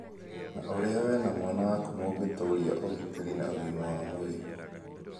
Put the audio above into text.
Na ũrĩa wee na mwana waku mũngĩtũũria ũgitĩri na ũgima wa mwĩrĩ.